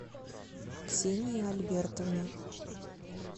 ксении альбертовне